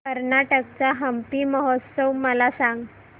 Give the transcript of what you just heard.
कर्नाटक चा हम्पी महोत्सव मला सांग